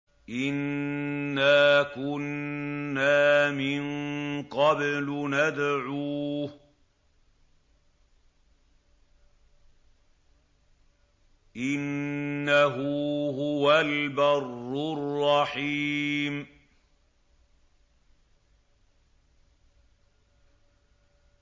إِنَّا كُنَّا مِن قَبْلُ نَدْعُوهُ ۖ إِنَّهُ هُوَ الْبَرُّ الرَّحِيمُ